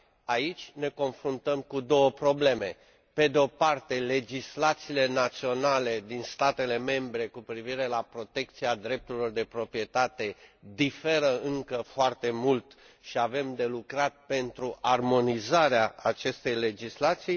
Aici ne confruntăm cu două probleme pe de o parte, legislațiile naționale din statele membre cu privire la protecția drepturilor de proprietate diferă încă foarte mult și avem de lucrat pentru armonizarea acestei legislații